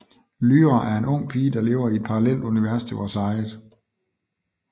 Lyra er en ung pige der lever i et parallelt univers til vores eget